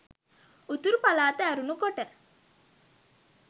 උතුරු පළාත ඇරුණු කොට